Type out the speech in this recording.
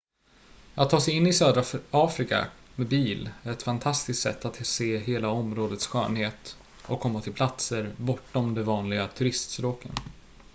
att ta sig in i södra afrika med bil är ett fantastiskt sätt att se hela områdets skönhet och komma till platser bortom de vanliga turiststråken